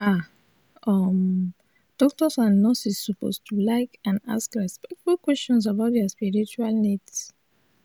ah um doctors and nurses suppose to like and ask respectful questions about dia spiritual needs